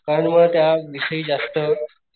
कारण मला त्या विषयी जास्त,